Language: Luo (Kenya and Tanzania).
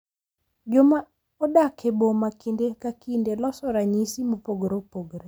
Joma odak e boma kinde ka kinde loso ranyisi mopogore opogore.